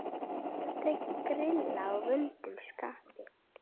Aldrei grilla í vondu skapi.